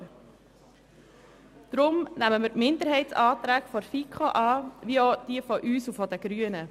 Deshalb nehmen wir die Minderheitsanträge der FiKo an sowie auch diejenigen von uns und den Grünen.